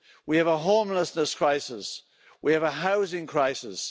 We have a homelessness crisis. We have a housing crisis.